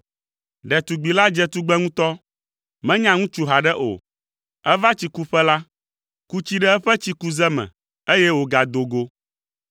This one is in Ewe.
Ɖetugbi la dze tugbe ŋutɔ. Menya ŋutsu haɖe o. Eva tsikuƒe la, ku tsi ɖe eƒe tsikuze me, eye wògado go.